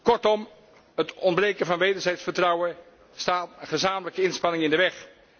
Kortom, het ontbreken van wederzijds vertrouwen staat gezamenlijke inspanningen in de weg.